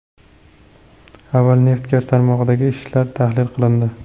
Avval neft-gaz tarmog‘idagi ishlar tahlil qilindi.